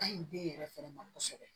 Ka ɲi den yɛrɛ fɛnɛ ma kosɛbɛ